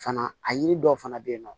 Fana a yiri dɔw fana bɛ yen nɔ